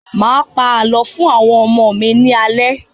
Máa pa àlọ́ fún àwọn ọmọ mi ní alẹ́